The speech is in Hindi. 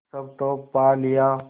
सब तो पा लिया